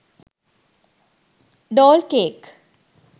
doll cake